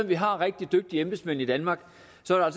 vi har rigtig dygtige embedsmænd i danmark